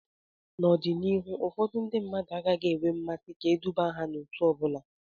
N'ọdịnihu ụfọdụ ndị agaghị enwe mmasị ka eduba ha n'òtù ọ bụla